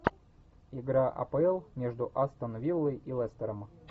игра апл между астон виллой и лестером